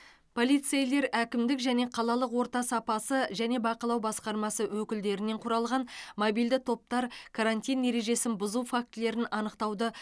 полицейлер әкімдік және қалалық орта сапасы және бақылау басқармасы өкілдерінен құралған мобильді топтар карантин ережесін бұзу фактілерін анықтауды